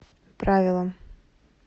правило